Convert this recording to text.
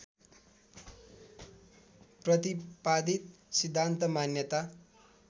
प्रतिपादित सिद्धान्त मान्यता